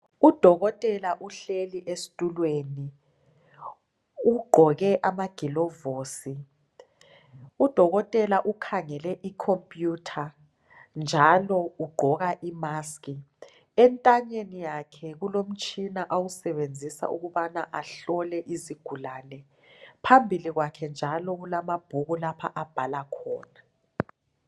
Udokotela uhleli esitulweni ugqoke amaglovusi udokotela ukhangele icomputer njalo ugqoka imask entanyeni yakhe kulomtshina awusebenzisa ukubana ahlole izigulane phambili kwakhe njalo kulamabhuku lapho abhala khona